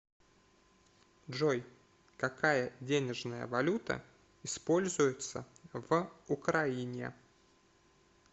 джой какая денежная валюта используется в украине